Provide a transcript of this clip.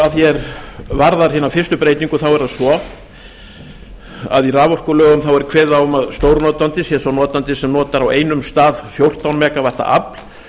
að því er varðar hina fyrstu breytingu er það svo að í raforkulögum er kveðið á um að stórnotandi sé sá notandi sem notar á einum stað fjórtán mega vöttum afl